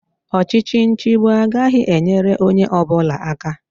Ọchịchị nchịgbu agaghị enyere onye ọbụla aka